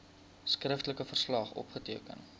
skriftelike verslag opgeteken